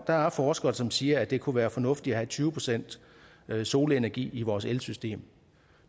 der er forskere som siger at det kunne være fornuftigt at have tyve procent solenergi i vores elsystem